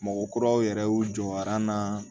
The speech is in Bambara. Mɔgɔ kuraw yɛrɛ y'u jɔra an na